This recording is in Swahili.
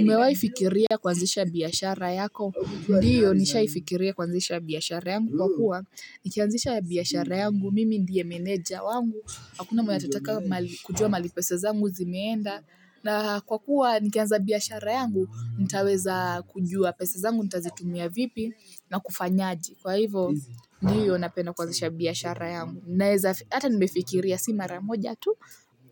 Umewahi fikiria kuanzisha biashara yako, ndiyo nishaifikiria kuanzisha biashara yangu, kwa kuwa, nikianzisha biashara yangu, mimi ndiye meneja wangu, hakuna mwenye atataka kujua mahali pesa zangu zimeenda, na kwa kuwa nikianza biashara yangu, nitaweza kujua pesa zangu, nitaweza kujua pesa zangu, nitazitumia vipi na kufanya aje, kwa hivyo, ndiyo napenda kuanzisha biashara yangu, naeza hata nimefikiria si mara moja tu,